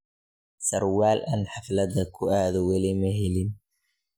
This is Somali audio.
Sarwal aan haflad kuuado weli maxelin.